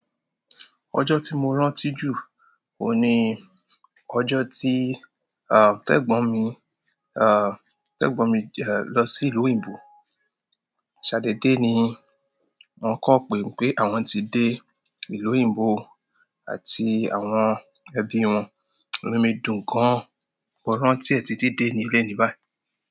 Ọjọ́ tí mo rántí jù oun ni ọjọ́ tí, àh, tẹ̀gbọ̀n mi, àh, tẹ̀gbọ̀n mi lọ sí ìlú òyìnbó. Sadédé ni wọn kan pé mi pé àwọn ti dé ìlú òyìnbó àti àwọn ẹbí wọn. Inú mi dùn gan, mo rántí ẹ títi deni eleni báyìí.